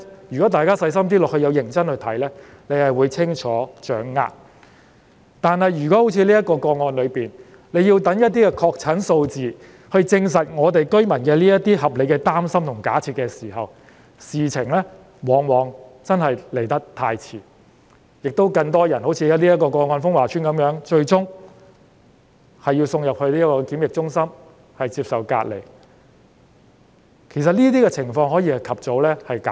如果要好像峰華邨的情況一樣，待確診個案數字證實居民的擔心和有關假設屬合理後才作出跟進，事情往往已經太遲，而且，這會令更多人好像峰華邨的個案一樣，最終要被送入檢疫中心隔離，但其實這情況可以及早避免。